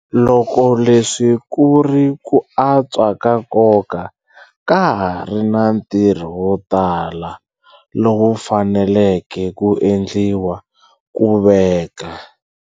Loko leswi ku ri ku antswa ka nkoka, ka ha ri na ntirho wo tala lowu faneleke ku endliwa ku veka.